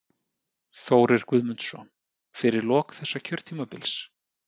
Þórir Guðmundsson: Fyrir lok þessa kjörtímabils?